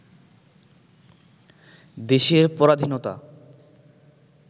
দেশের পরাধীনতা